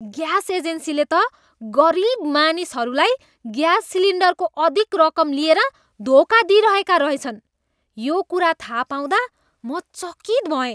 Gas एजेन्सीले त गरिब मानिसहरूलाई ग्यास सिलिन्डरको अधिक रकम लिएर धोका दिइरहेका रहेछन्। यो कुरा थाहा पाउँदा म चकित भएँ।